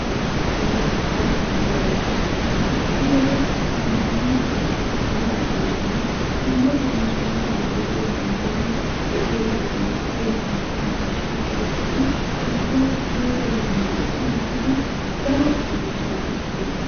La ayba lo'iyabesha! Hai wode zamaana bankketti yiidagetun dumma dumma sunttaara de'iyaagettun asay bantta miishshaa qoraphphidi issuwaa issuwaa bollani dichchi dichchidi daro miishshaa ekkoosona.